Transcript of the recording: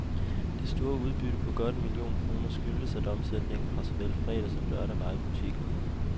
Det store udbytte på godt en million kroner skyldtes, at omsætningen fra såvel fredag som lørdag var i butikken.